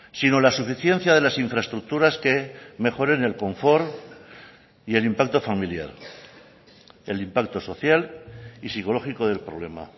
sino la suficiencia de las infraestructuras que mejoren el confort y el impacto familiar el impacto social y psicológico del problema